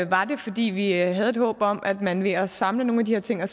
var det fordi vi havde et håb om at man ved at samle nogle af de her ting og